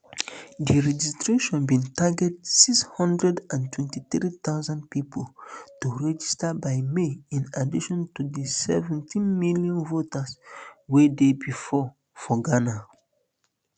di registration bin target six hundred and twenty-three thousand pipo to um register by may in addition to di seventeen million voters wey dey bifor for ghana